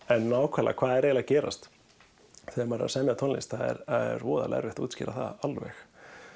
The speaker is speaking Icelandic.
en nákvæmlega hvað er að gerast þegar maður er að semja tónlist það er voðalega erfitt að útskýra það alveg